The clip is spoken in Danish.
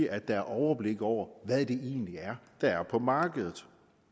at der er overblik over hvad det egentlig er der er på markedet og